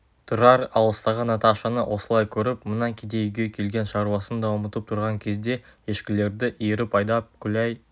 тұрар алыстағы наташаны осылай көріп мына кедей үйге келген шаруасын да ұмытып тұрған кезде ешкілерді иіріп айдап күләй